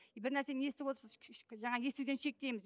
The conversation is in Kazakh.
бір нәрсені естіп отырса жаңағы естуден шектейміз